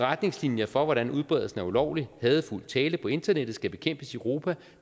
retningslinjer for hvordan udbredelsen af ulovlig hadefuld tale på internettet skal bekæmpes i europa